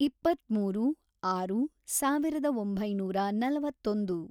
ಇಪ್ಪತ್ಮೂರು, ಆರು, ಸಾವಿರದ ಒಂಬೈನೂರ ನಲವತ್ತೊಂದು